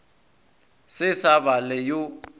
se sa ba le yo